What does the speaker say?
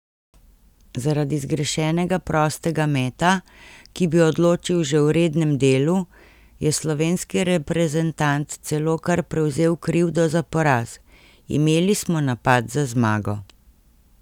Zaradi zgrešenega prostega meta, ki bi odločil že v rednem delu, je slovenski reprezentant celo kar prevzel krivdo za poraz: 'Imeli smo napad za zmago.